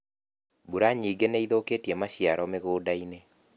Mbura nyingĩ nĩithũkĩtie maciaro mũgundainĩ.